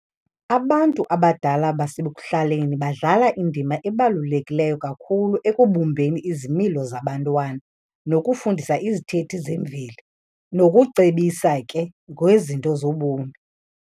Abantu abadala basekuhlaleni badlala indima ebalulekileyo kakhulu ekubumbeni izimilo zabantwana, nokufundisa izithethi zemveli nokucebisa ke ngezinto zobomi.